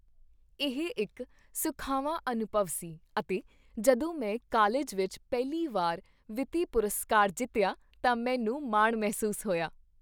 ਇਹ ਇੱਕ ਸੁਖਾਵਾਂ ਅਨੁਭਵ ਸੀ ਅਤੇ ਜਦੋਂ ਮੈਂ ਕਾਲਜ ਵਿੱਚ ਪਹਿਲੀ ਵਾਰ ਵਿੱਤੀ ਪੁਰਸਕਾਰ ਜਿੱਤਿਆ ਤਾਂ ਮੈਨੂੰ ਮਾਣ ਮਹਿਸੂਸ ਹੋਇਆ।